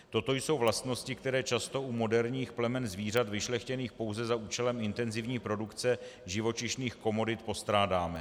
Toto jsou vlastnosti, které často u moderních plemen zvířat vyšlechtěných pouze za účelem intenzivní produkce živočišných komodit postrádáme.